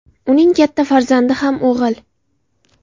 Uning katta farzandi ham o‘g‘il.